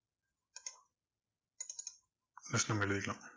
just நம்ம எழுதிக்கலாம்.